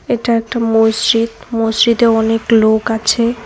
এটা একটা মসজিদ মসজিদে অনেক লোক আছে।